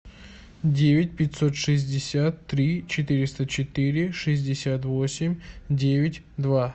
девять пятьсот шестьдесят три четыреста четыре шестьдесят восемь девять два